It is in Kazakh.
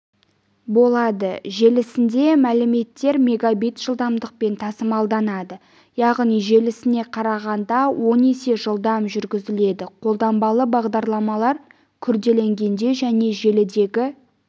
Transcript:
болады желісінде мәліметтер мегабит жылдамдықпен тасымалданады яғни желісіне қарағанда он есе жылдам жүргізіледі қолданбалы бағдарламалар күрделенгенде және желідегі